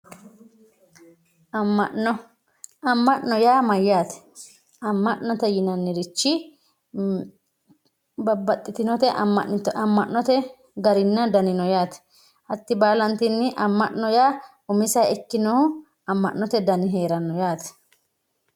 amma'no amm'no yaa mayyate amma'no yaa yinannirich babbaxitinnote amma'note daninna gari no yaate hatti baalantinni umiseha ikkinohu amma'note dani no yaate